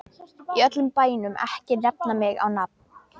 Í öllum bænum ekki nefna mig á nafn.